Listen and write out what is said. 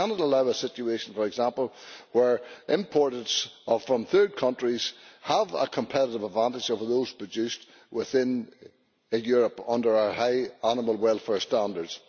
We cannot allow a situation, for example, where imports from third countries have a competitive advantage over those produced within a Europe under our high animal welfare standards.